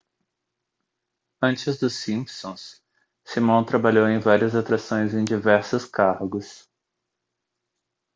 antes dos simpsons simon trabalhou em várias atrações em diversos cargos